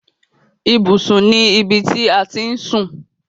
Ibùsùn ni ibi ti à ti ń sùn.